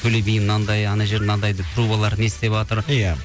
төле би мынандай анау жер мынандай деп трубалар не істеватыр иә